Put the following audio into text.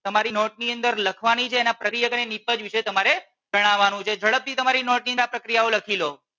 તમારી નોટ ની અંદર લખવાની છે અને તેના પ્રકીયક અને નિપજ વિષે તમાટે જણાવાનું છે. ઝડપ થી તમારી નોટ ની અંદર આ પ્રક્રિયાઓ લખી લો.